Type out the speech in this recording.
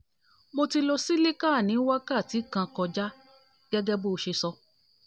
mo ti lo cilicar ní wákàti kan kọjá gẹ́gẹ́ bọ́ ṣe sọ